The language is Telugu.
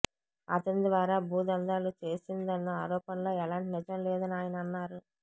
అతని ద్వారా భూ దందాలు చేసిందన్న ఆరోపణలో ఎలాంటి నిజం లేదని ఆయన అన్నారు